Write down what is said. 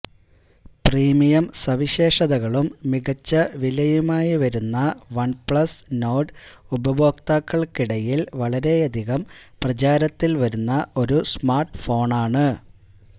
premium സവിശേഷതകളും മികച്ച വിലയുമായി വരുന്ന വൺപ്ലസ് നോർഡ് ഉപയോക്താക്കൾക്കിടയിൽ വളരെയധികം പ്രചാരത്തിൽ വരുന്ന ഒരു സ്മാർട്ഫോണാണ്